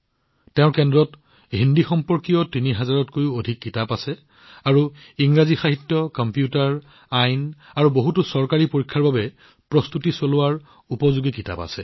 তেওঁৰ কেন্দ্ৰত হিন্দী আৰু ইংৰাজী সাহিত্য কম্পিউটাৰ আইন আৰু বহুতো চৰকাৰী পৰীক্ষাৰ বাবে প্ৰস্তুতি সম্পৰ্কীয় ৩০০০ত কৈও অধিক কিতাপ আছে